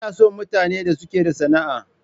Ina son mutanen da suke da sana'a.